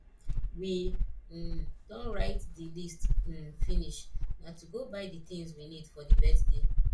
we um don write the list um finish na to go buy the things we need for the birthday